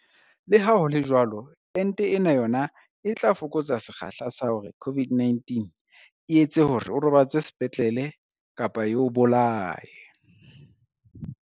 Leha ho le jwalo, ente ena yona e tla fokotsa sekgahla sa hore COVID-19 e etse hore o robatswe sepetlele kapa e o bolaye.